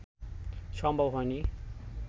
সম্ভব হয়নি